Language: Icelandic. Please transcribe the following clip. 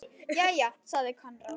Jæja, sagði Konráð.